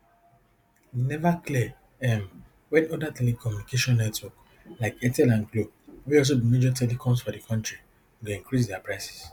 e neva clear um wen oda telecommunication networks like airtel and glo wey also be major telecoms for di kontri go increase dia prices